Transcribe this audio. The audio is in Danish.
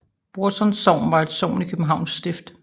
Brorsons Sogn var et sogn i Københavns Stift